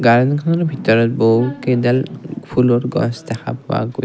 গাৰ্ডেনখনৰ ভিতৰত বহু কেইডাল ফুলৰ গছ দেখা পোৱা গৈ--